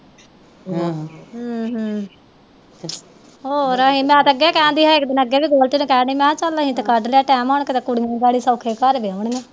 ਹੋਰ ਮੈਂ ਤੇ ਅੱਗੇ ਕਹਿਣ ਦੀ ਸੀ ਇਕ ਦਿਨ ਅੱਗੇ ਵੀ ਨੂੰ ਕਹਿਣ ਡੀ ਸੀ ਮਹਾ ਚੱਲ ਅਸੀਂ ਤੇ ਕੱਢ ਲਿਆ ਟੈਮ ਬੜੇ ਸੋਖੇ ਕੁੜੀ ਨੂੰ ਬੜੇ ਸੋਖੇ ਘਰ ਵਿਆਉਣੀ ਆ